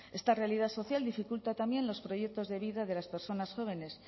esta realidad social dificulta también los proyectos de vida de las personas jóvenes